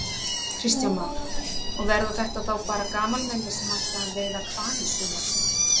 Kristján Már: Og verða þetta þá bara gamalmenni sem ætla að veiða hval í sumar?